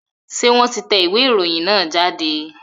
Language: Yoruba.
Ṣé wọ́n ti tẹ ìwé ìròyìn náà jáde?